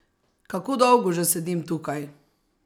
Kako dolgo že sedim tukaj?